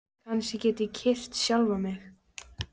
Kannski get ég kyrkt sjálfan mig?